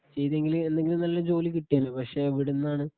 ചെയ്തെങ്കില് എന്തെങ്കിലും നല്ല ജോലി കിട്ടിയേനെ പക്ഷെ എവിടുന്നാണ്